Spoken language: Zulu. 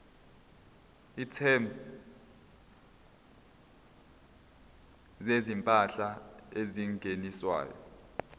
items zezimpahla ezingeniswayo